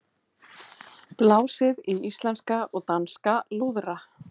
Blásið í íslenska og danska lúðra